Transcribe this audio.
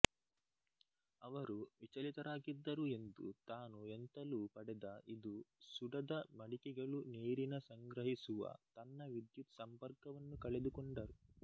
ಅವರು ವಿಚಲಿತರಾಗಿದ್ದರು ಎಂದು ತಾನು ಎಂತಲೂ ಪಡೆದ ಇದು ಸುಡದ ಮಡಿಕೆಗಳು ನೀರಿನ ಸಂಗ್ರಹಿಸುವ ತನ್ನ ವಿದ್ಯುತ್ ಸಂಪರ್ಕವನ್ನು ಕಳೆದುಕೊಂಡರು